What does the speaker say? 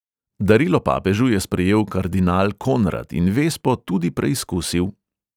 Darilo papežu je sprejel kardinal konrad in vespo tudi preizkusil.